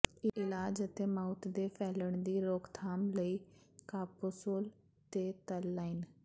ਇਲਾਜ ਅਤੇ ਮਾਊਥ ਦੇ ਫੈਲਣ ਦੀ ਰੋਕਥਾਮ ਲਈ ਕਾਪੋਸੋਲ ਤੇ ਤਲ ਲਾਈਨ